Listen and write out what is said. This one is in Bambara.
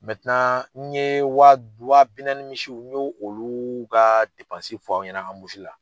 n ye wa bi naani misiw n y'o olu ka fɔ aw ɲɛna anbusu la.